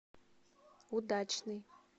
удачный